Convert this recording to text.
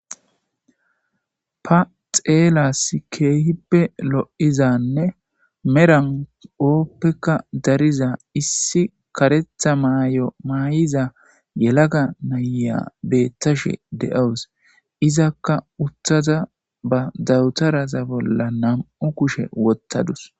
Ta xeelasi kehippe loizanne medha oppekka dariza issi kareththa Mayo mayiza yelaga naiya beyashe deawus ezzakja uttida ba dawuteraza bola namu kushe wothasu